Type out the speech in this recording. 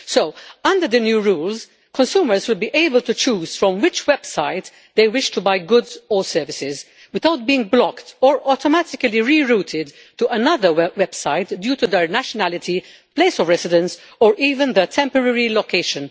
So, under the new rules, consumers will be able to choose from which website they wish to buy goods or services without being blocked or automatically rerouted to another website due to their nationality, place of residence, or even their temporary location.